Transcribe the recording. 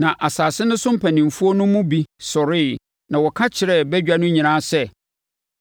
Na asase no so mpanimfoɔ no mu bi sɔreeɛ na wɔka kyerɛɛ badwa no nyinaa sɛ,